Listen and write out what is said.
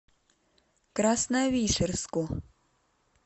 красновишерску